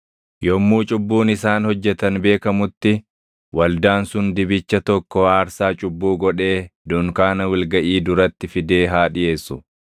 Yommuu cubbuun isaan hojjetan beekamutti waldaan sun dibicha tokko aarsaa cubbuu godhee dunkaana wal gaʼii duratti fidee haa dhiʼeessu.